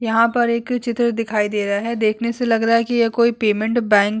यहाँ पर एक चित्र दिखाई दे रहा है देखने से लग रहा ये कोई पेमेंट बँक --